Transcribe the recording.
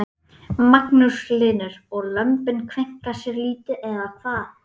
Magnús Hlynur: Og lömbin kveinka sér lítið eða hvað?